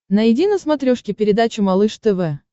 найди на смотрешке передачу малыш тв